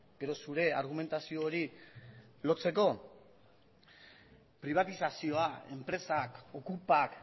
gero zure argumentazio hori lotzeko pribatizazioa enpresak okupak